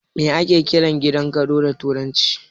Me ake kiran gidan gado da turanci?